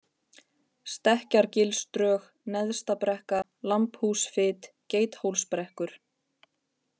Stekkjargilsdrög, Neðsta-Brekka, Lambhúsfit, Geithólsbrekkur